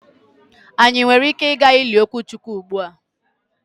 Anyị nwere ike ịga ili Okechukwu ugbua?